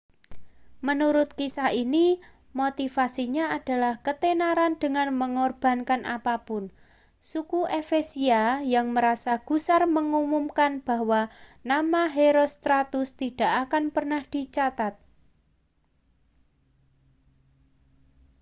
menurut kisah ini motivasinya adalah ketenaran dengan mengorbankan apa pun suku efesia yang merasa gusar mengumumkan bahwa nama herostratus tidak akan pernah dicatat